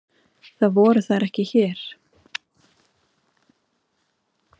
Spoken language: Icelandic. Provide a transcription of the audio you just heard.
Það voru þær ekki hér.